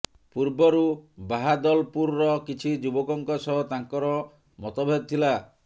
ପୂର୍ବରୁ ବାହାଦଲପୁରର କିଛି ଯୁବକଙ୍କ ସହ ତାଙ୍କର ମତଭେଦ ଥିଲା